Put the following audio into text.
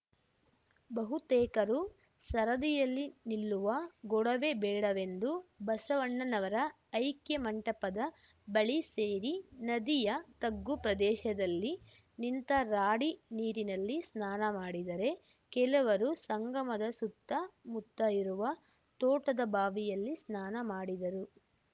ಬಹುತೇಕರು ಸರದಿಯಲ್ಲಿ ನಿಲ್ಲುವ ಗೊಡವೆ ಬೇಡವೆಂದು ಬಸವಣ್ಣನವರ ಐಕ್ಯ ಮಂಟಪದ ಬಳಿ ಸೇರಿ ನದಿಯ ತಗ್ಗು ಪ್ರದೇಶದಲ್ಲಿ ನಿಂತ ರಾಡಿ ನೀರಿನಲ್ಲಿ ಸ್ನಾನ ಮಾಡಿದರೆ ಕೆಲವರು ಸಂಗಮದ ಸುತ್ತಮುತ್ತ ಇರುವ ತೋಟದ ಬಾವಿಯಲ್ಲಿ ಸ್ನಾನ ಮಾಡಿದರು